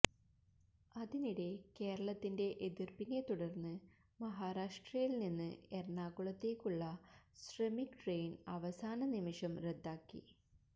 അതിനിടെ കേരളത്തിന്റെ എതിർപ്പിനെതുടർന്ന് മഹാരാഷ്ട്രയിൽ നിന്ന് എറണാകുളത്തേക്കുള്ള ശ്രമിക് ട്രെയിൻ അവസാന നിമിഷം റദ്ദാക്കി